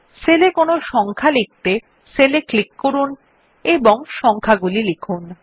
sell এ সংখ্যা লিখতে সেল এ ক্লিক করুন এবং সংখ্যাগুলি লিখুন